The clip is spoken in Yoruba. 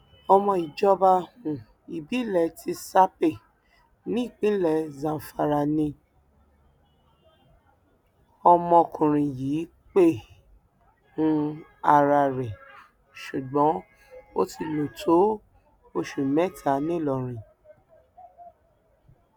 ọmọ ìjọba um ìbílẹ tsápè nípínlẹ zamfara ni ọmọkùnrin yìí pe um ara rẹ ṣùgbọn ó ti lò tó oṣù mẹta ńìlọrin